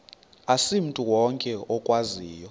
asimntu wonke okwaziyo